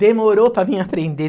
Demorou para mim aprender.